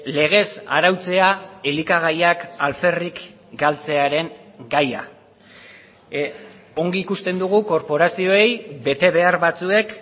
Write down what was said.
legez arautzea elikagaiak alferrik galtzearen gaia ongi ikusten dugu korporazioei betebehar batzuek